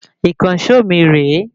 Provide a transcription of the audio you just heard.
Ìkànsó mi rè é